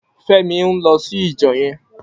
Femi n lò sí ijò yèn